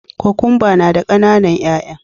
Kokwamba na da kananan 'ya'ya